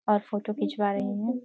और फोटो खिचवा रही हूँ।